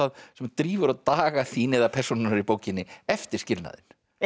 sem drífur á daga þína eða persónunnar í bókinni eftir skilnaðinn